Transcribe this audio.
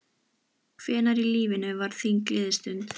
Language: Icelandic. Hvenær í lífinu var þín gleðistund?